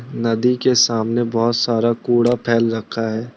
नदी के सामने बहुत सारा कूड़ा फैल रखा है।